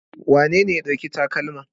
Wanene ya ɗauki takalma?